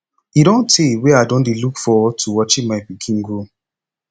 e don tey wey i don dey look forward to watching my pikin grow